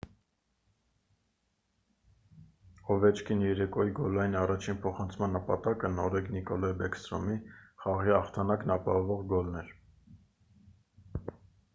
օվեչկինի երեկոյի գոլային առաջին փոխանցման նպատակը նորեկ նիկոլայ բեքսթրոմի խաղի հաղթանակն ապահովող գոլն էր